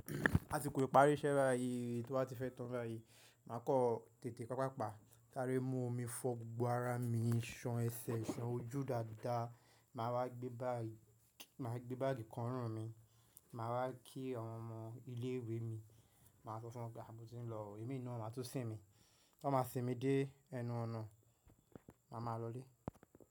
A ti kò lè parí iṣẹ́ bá yìí tí o ba á ti fẹ́ toro aye. Máa kọ́ tètè pàpàpá, saáre mú omi fọ gbogbo ara mi, san ẹsẹ̀, san ojú dáadáa. Máa wá gbé báàgì, máa gbé báàgì kọ ọrún mi. Máa wá kí àwọn ọmọ ilé ìwé mi, màá sọ fún wọn pé mo ti ń lọ, èmi naa wọn a tun sìn mí. Wọ́n ma sinmi dé ẹnu ọ̀nà, màá ma lọlé.